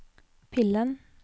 pillen